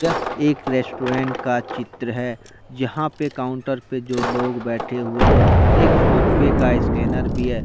यह एक रेस्टोरेंट का चित्र है। जहां पे काउंटर पे दो लोग बैठे हुए है एक फोन पे का स्कैनर भी हैं।